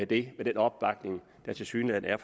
det med den opbakning der tilsyneladende er